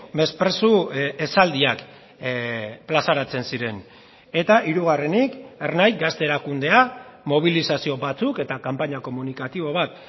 mesprezu esaldiak plazaratzen ziren eta hirugarrenik ernai gazte erakundea mobilizazio batzuk eta kanpaina komunikatibo bat